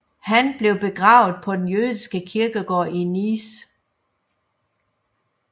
Han blev begravet på den jødiske kirkegård i Nice